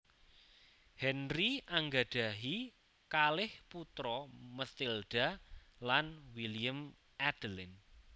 Henry anggadhahi kalih putra Matilda lan William Adelin